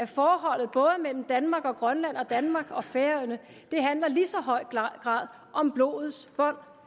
forholdet mellem danmark og grønland og danmark og færøerne i lige så høj grad om blodets bånd